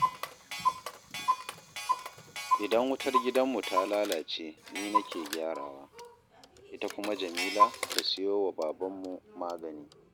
Idan wutar gidanmu ta lalace ni nake gyarawa, ita kuma Jamila ta siyo wa babanmu magani